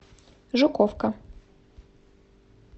жуковка